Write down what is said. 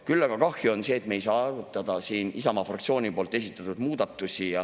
Küll aga on kahju sellest, et me ei saa arutada siin Isamaa fraktsiooni esitatud muudatusi.